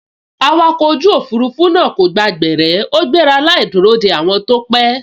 Awakọ̀ ojú òfurufú náà kò gba gbẹ̀rẹ́ ó gbéra láì dúró de àwọn tó pẹ́